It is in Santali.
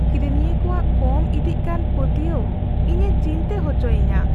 ᱠᱤᱨᱤᱧᱤᱭᱟᱹ ᱠᱚᱣᱟᱜ ᱠᱚᱢ ᱤᱫᱤᱜ ᱠᱟᱱ ᱯᱟᱹᱛᱭᱟᱹᱣ ᱤᱧᱮ ᱪᱤᱱᱛᱟᱹ ᱦᱚᱪᱚᱭᱤᱧᱟ ᱾